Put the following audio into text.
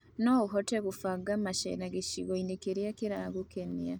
No tũhote kũbanga gũceera gĩcigo-inĩ kĩria kĩragũkenia.